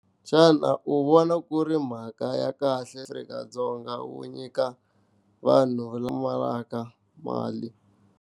Xana u vona ku ri mhaka ya kahle eAfrika-Dzong, wu nyika vanhu lava pfumalaka mali.